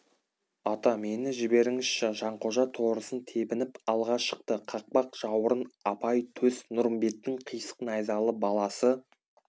ата мені жіберіңізші жанқожа торысын тебініп алға шықты қақпақ жауырын апай төс нұрымбеттің қисық найзалы баласы